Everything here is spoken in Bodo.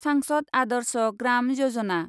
सांसद आदर्श ग्राम यजना